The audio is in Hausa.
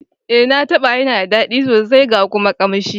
Eh, na taba yana da dadi sosai ga kuma kanshi.